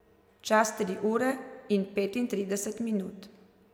Čas tri ure in petintrideset minut.